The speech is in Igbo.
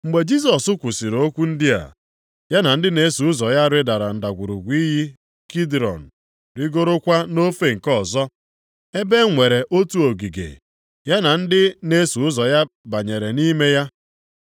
Mgbe Jisọs kwusiri okwu ndị a, ya na ndị na-eso ụzọ ya rịdara ndagwurugwu iyi Kidrọn rigorokwa nʼofe nke ọzọ, ebe e nwere otu ogige, ya na ndị na-eso ụzọ ya banyere nʼime ya.